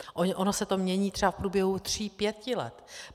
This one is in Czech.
Ono se to mění třeba v průběhu tří pěti let.